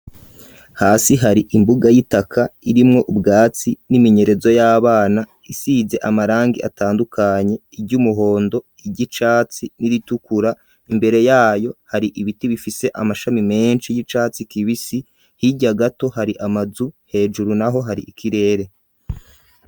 Hasi hari imbuga y'itaka irimwo ubwatsi n'iminyerezo y'abana isize amarangi atandukanye iry'umuhondo, iry'icatsi n'iritukura, imbere yayo hari ibiti bifise amashami menshi y'icatsi kibisi hirya gato hari amazu hejuru naho hari ikirere.